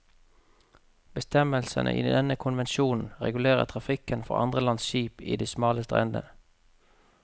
Bestemmelsene i denne konvensjonen regulerer trafikken for andre lands skip i de smale stredene.